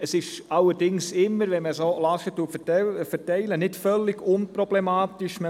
Es ist allerdings immer so, dass wenn man Lasten umverteilt, es nicht völlig unproblematisch ist.